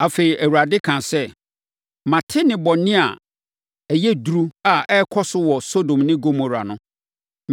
Afei, Awurade kaa sɛ, “Mate nnebɔne a ɛyɛ duru a ɛrekɔ so wɔ Sodom ne Gomora no.